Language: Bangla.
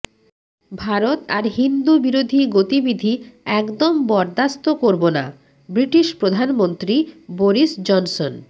ভারত আর হিন্দু বিরোধী গতিবিধি একদম বরদাস্ত করবনাঃ ব্রিটিশ প্রধানমন্ত্রী বোরিস জনসন